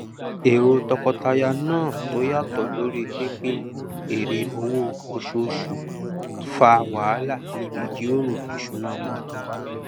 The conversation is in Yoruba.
èrò tọkọtaya náà tó yàtọ lorí pínpín èrè owó oṣooṣù fá wàhálà níbí ìjíròrò ìṣúná wọn